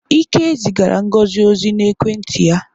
Ike zigara Ngozi ozi n'ekwenti ya.